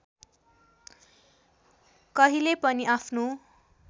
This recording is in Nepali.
कहिले पनि आफ्नो